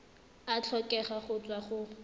a tlhokega go tswa go